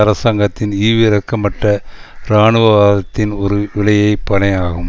அரசாங்கத்தின் ஈவிரக்கமற்ற இராணுவவாதத்தின் ஒரு விலையை பனையாகும்